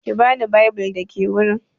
Ki bani bible da ke wurin.